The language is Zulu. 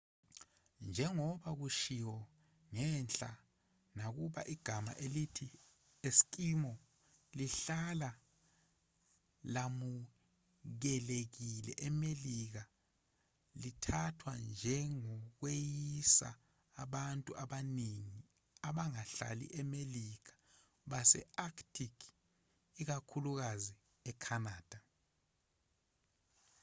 njengoba kushiwo ngenhla nakuba igama elithi eskimo lihlala lamukelekile emelika lithathwa njengokweyisa abantu abaningi abangahlali emelika base-arctic ikakhulukazi ecanada